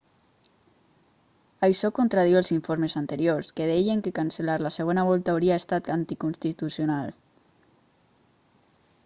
això contradiu els informes anteriors que deien que cancel·lar la segona volta hauria estat anticonstitucional